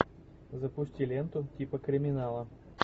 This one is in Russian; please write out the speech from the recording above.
запусти ленту типа криминала